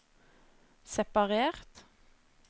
separert